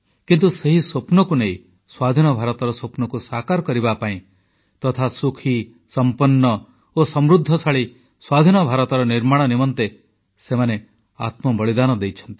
କିନ୍ତୁ ସେହି ସ୍ୱପ୍ନକୁ ନେଇ ସ୍ୱାଧୀନ ଭାରତର ସ୍ୱପ୍ନକୁ ସାକାର କରିବା ପାଇଁ ତଥା ସୁଖୀ ସଂପନ୍ନ ଓ ସମୃଦ୍ଧଶାଳୀ ସ୍ୱାଧୀନ ଭାରତର ନିର୍ମାଣ ନିମନ୍ତେ ସେମାନେ ଆତ୍ମବଳିଦାନ ଦେଇଛନ୍ତି